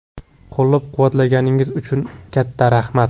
Qo‘llab-quvvatlaganingiz uchun katta rahmat.